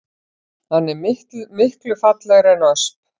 Hann er miklu fallegri en ösp